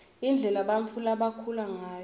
indlela bantfu labakhula ngayo